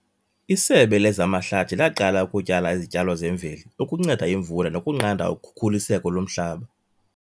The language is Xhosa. Isebe lezamahlathi laqala ukutyala izityalo zemveli ukunceda imvula nokunqanda ukhukuliseko lomhlaba.